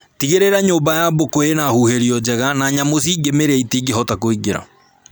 Tigĩrĩra nyũmba ya mbũkũ ĩna huhĩrio njega na nyamũ cingĩmĩrĩa itingĩhota kũingĩra